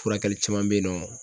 Furakɛli caman bɛ yen nɔ